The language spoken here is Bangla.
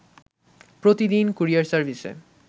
প্রতিদিন কুরিয়ার সার্ভিসে